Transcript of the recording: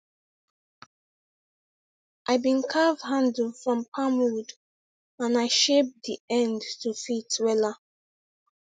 i been carve handle from palm wood and i shape d end to fit wela